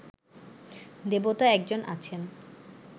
দেবতা এক জন আছেন